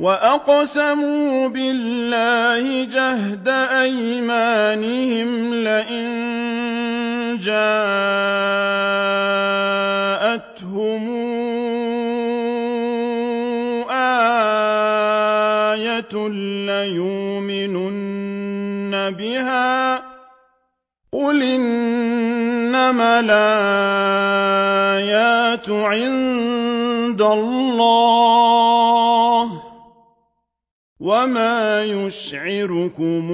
وَأَقْسَمُوا بِاللَّهِ جَهْدَ أَيْمَانِهِمْ لَئِن جَاءَتْهُمْ آيَةٌ لَّيُؤْمِنُنَّ بِهَا ۚ قُلْ إِنَّمَا الْآيَاتُ عِندَ اللَّهِ ۖ وَمَا يُشْعِرُكُمْ